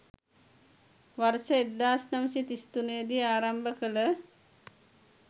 වර්ෂ 1933 දී ආරම්භ කළ